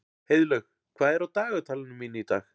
Heiðlaug, hvað er á dagatalinu mínu í dag?